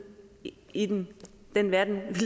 i den den verden vi